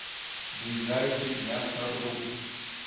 ближайший мясоруб